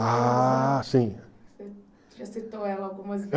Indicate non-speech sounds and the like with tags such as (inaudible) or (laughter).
Ah, sim. (unintelligible)